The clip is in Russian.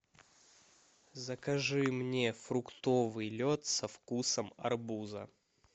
закажи мне фруктовый лед со вкусом арбуза